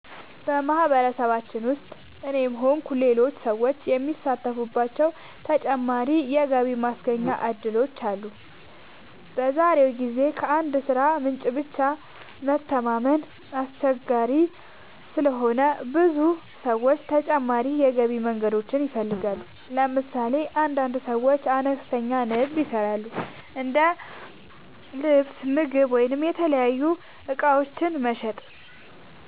በማህበረሰባችን ውስጥ እኔም ሆንኩ ሌሎች ሰዎች የሚሳተፉባቸው ተጨማሪ የገቢ ማስገኛ እድሎች አሉ። በዛሬው ጊዜ ከአንድ የሥራ ምንጭ ብቻ መተማመን አስቸጋሪ ስለሆነ ብዙ ሰዎች ተጨማሪ የገቢ መንገዶችን ይፈልጋሉ። ለምሳሌ አንዳንድ ሰዎች አነስተኛ ንግድ ይሰራሉ፤ እንደ ልብስ፣ ምግብ ወይም የተለያዩ እቃዎች መሸጥ።